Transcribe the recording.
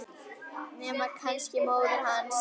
Nema kannski móðir hans.